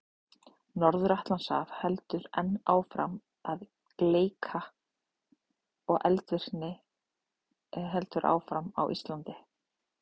Norður-Atlantshaf heldur enn áfram að gleikka og eldvirkni heldur áfram á Íslandi.